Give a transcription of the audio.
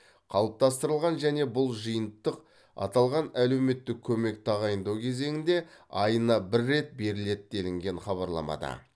қалыптастырылған және бұл жиынтық аталған әлеуметтік көмек тағайындау кезеңінде айына бір рет беріледі делінген хабарламада